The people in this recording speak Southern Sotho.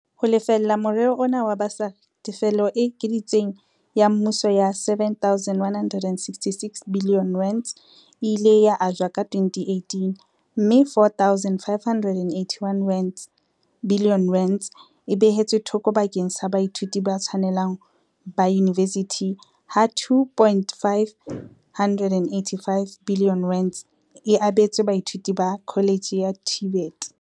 Ho lefella morero ona wa basari, tefelo e ekeditsweng ya mmuso ya R7.166 biliyone e ile ya ajwa ka 2018 - mme R4.581 biliyone e behetswe thoko bakeng sa baithuti ba tshwanelang ba yunivesithi ha R2.585 biliyone e abetswe baithuti ba kholetjhe ya TVET.